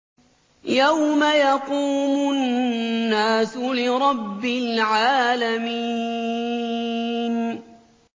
يَوْمَ يَقُومُ النَّاسُ لِرَبِّ الْعَالَمِينَ